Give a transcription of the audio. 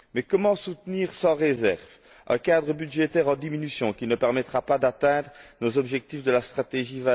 Mais comment soutenir sans réserve un cadre budgétaire en diminution, qui ne permettra pas d'atteindre nos objectifs de la stratégie